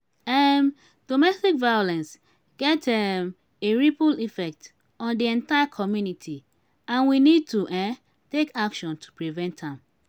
um domestic violence get um a ripple effect on di entire community and we need to um take action to prevent am.